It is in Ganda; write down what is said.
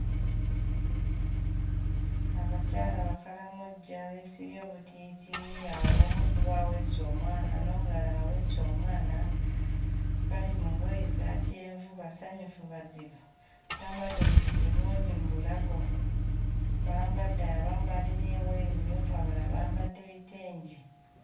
Abakyala Abakaramojja beesibye obutiiti. Awo omu ku bo aweese omwana n'omulala aweese omwana. Bali mu ngoye eza kyenvu basanyufu bazibu. Bambadde obutiiti bungi mu bulago. Bambadde abamu balina engoye mmyufu abalala bambadde bitengi.